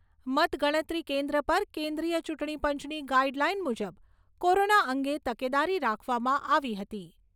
મતગણતરી કેન્દ્ર પર કેન્દ્રિય ચૂંટણીપંચની ગાઇડલાઇન મુજબ કોરોના અંગે તકેદારી રાખવામાં આવી હતી.